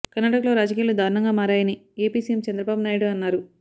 కర్ణాటకలో రాజకీయాలు దారుణంగా మారాయని ఏపీ సీఎం చంద్రబాబు నాయుడు అన్నారు